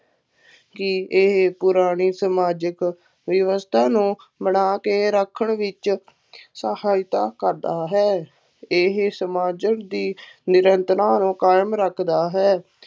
ਕਿ ਇਹ ਪੁਰਾਣੀ ਸਮਾਜਿਕ ਵਿਵਵਸਥਾ ਨੂੰ ਬਣਾ ਕੇ ਰੱਖਣ ਵਿੱਚ ਸਹਾਇਤਾ ਕਰਦਾ ਹੈ, ਇਹ ਸਮਾਜਿਕ ਦੀ ਨਿਰੰਤਰਤਾ ਨੂੰ ਕਾਇਮ ਰੱਖਦਾ ਹੈ।